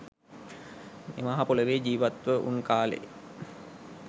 මේ මහ පොළොවේ ජීවත් ව උන් කාලේ